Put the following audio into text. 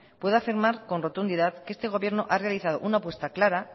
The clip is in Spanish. puedo afirmar con rotundidad que este gobierno ha realizado una apuesta clara